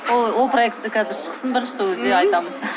ол проект қазір шықсын бірінші сол кезде айтамыз